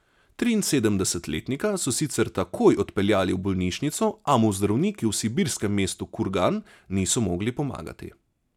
Triinsedemdesetletnika so sicer takoj odpeljali v bolnišnico, a mu zdravniki v sibirskem mestu Kurgan niso mogli pomagati.